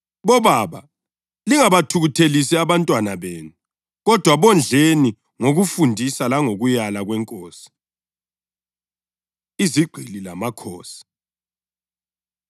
Bobaba + 6.4 Kumbe Bazali, lingabathukuthelisi abantwana benu kodwa bondleni ngokufundisa langokulaya kweNkosi. Izigqili Lamakhosi